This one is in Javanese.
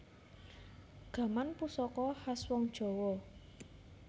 Gaman pusaka khas wong jawa